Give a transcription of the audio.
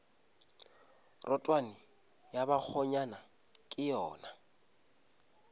rotwane ya bakgonyana ke yona